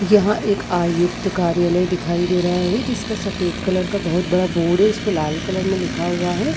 यहाँ एक आयुक्त कार्यलय दिखाई दे रहा है जिसका सफ़ेद कलर का बोहत बड़ा बोर्ड है इसपे लाल कलर में लिखा हुआ है।